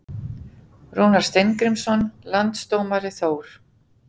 Rúnar Steingrímsson Landsdómari Þór